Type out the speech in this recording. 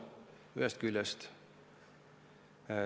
Seda ühest küljest.